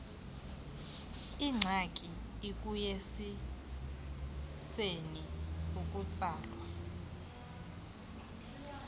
ingxaki ekuyekiseni ukutsalwa